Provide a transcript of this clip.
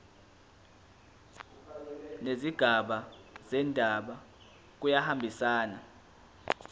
nezigaba zendaba kuyahambisana